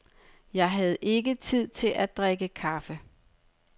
Jeg havde ikke tid til at drikke kaffe.